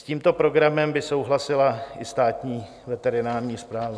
S tímto programem by souhlasila i Státní veterinární správa.